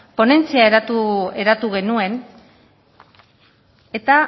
ponentzia eratu genuen eta